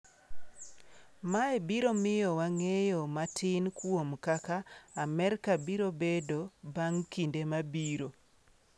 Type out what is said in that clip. Mae biro miyowa ng’eyo matin kuom kaka Amerka biro bedo bang’ kinde mabiro.”